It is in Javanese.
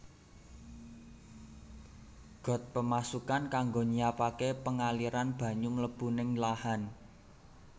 Got Pemasukan kanggo nyiapaké pengaliran banyu mlebu ning lahan